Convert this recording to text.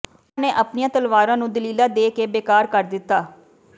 ਉਨ੍ਹਾਂ ਨੇ ਆਪਣੀਆਂ ਤਲਵਾਰਾਂ ਨੂੰ ਦਲੀਲਾਂ ਦੇ ਕੇ ਬੇਕਾਰ ਕਰ ਦਿੱਤਾ